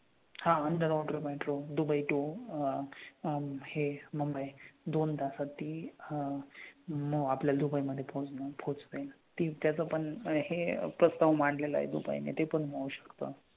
हां underwater metro Dubai to अह हे मुंबई दोन तासात ती अह आपल्या दुबई मध्ये पोहचणार full speed ने. त्याचा पण हे प्रस्ताव मांडलेला आहे दुबईने. ते पण होऊ शकतं.